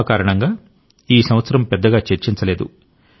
corona కారణంగా ఈ సంవత్సరం పెద్దగా చర్చించలేదు